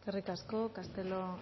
eskerrik asko castelo